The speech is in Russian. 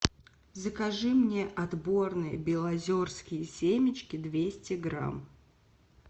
закажи мне отборные белозерские семечки двести грамм